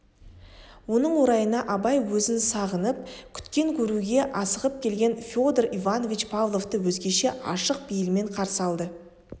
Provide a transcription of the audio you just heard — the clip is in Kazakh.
оның орайына абай өзін сағынып күткен көруге асығып келген федор иванович павловты өзгеше ашық бейілмен қарсы алды